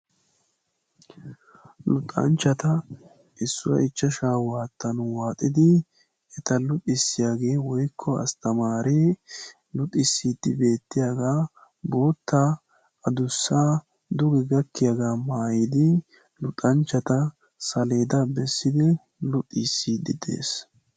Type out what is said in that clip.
Luxanchchata issuwa ichchashaa waattan waaxidi eta luxissiyagee woykko asttamaaree luxissiiddi beettiyagaa bootta adussa duge gakkiyagaa maayidi luxanchchata saleedaa bessiddi luxisside de"es.